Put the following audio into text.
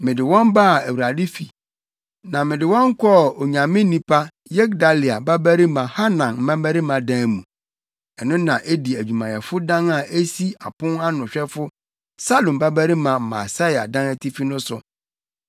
Mede wɔn baa Awurade fi, na mede wɔn kɔɔ Onyame nipa Yigdalia babarima Hanan mmabarima dan mu. Ɛno na edi adwumayɛfo dan a esi ɔpon ano hwɛfo Salum babarima Maaseia dan atifi no so.